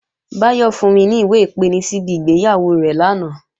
Báyọ̀ fún mi ní ìwé-ìpeni síbi ìgbéyàwó rẹ̀ lánàá